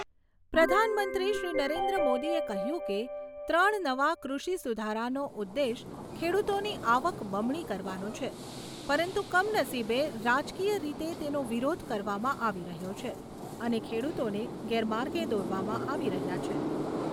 પ્રધાનમંત્રીશ્રી નરેન્દ્ર મોદીએ કહ્યું કે, ત્રણ નવા કૃષિ સુધારાનો ઉદેશ ખેડૂતોની આવક બમણી કરવાનો છે પરંતુ કમનસીબે રાજકીય રીતે તેનો વિરોધ કરવામાં આવી રહ્યો છે અને ખેડૂતોને ગેરમાર્ગે દોરવામાં આવી રહ્યા છે.